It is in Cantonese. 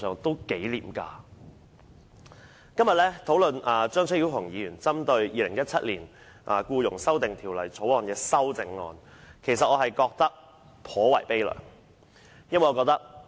本會今天討論張超雄議員針對《條例草案》提出的修正案，我感到頗為悲涼。